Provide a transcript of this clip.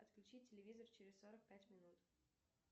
отключи телевизор через сорок пять минут